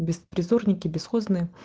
беспризорники бесхозные